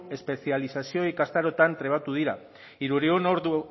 espezializazio ikastaroetan trebatu dira hirurehun ordu